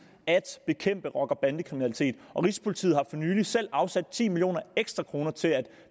at bekæmpe rocker bande kriminalitet og rigspolitiet har for nylig selv afsat ti millioner ekstra kroner til at